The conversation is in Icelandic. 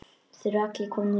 Þeir eru allir komnir út.